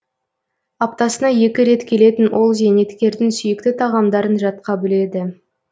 аптасына екі рет келетін ол зейнеткердің сүйікті тағамдарын жатқа біледі